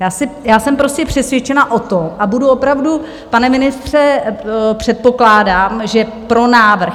Já jsem prostě přesvědčena o tom a budu opravdu, pane ministře, předpokládám, že pro návrh.